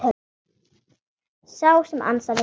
Sá sem ansaði ykkur.